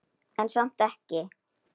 En samt ekki.